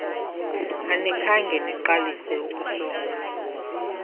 anikhange niqalise ukusonga